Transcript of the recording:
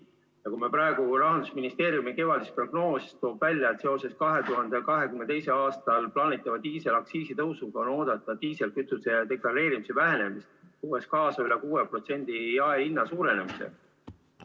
Kui me praegu vaatame Rahandusministeeriumi kevadist prognoosi, siis loeme sealt välja, et seoses 2022. aastal plaanitava diisliaktsiisi tõusuga on oodata deklareerimise vähenemist, mis toob kaasa üle 6% jaehinna suurenemise.